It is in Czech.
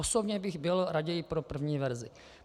Osobně bych byl raději pro první verzi.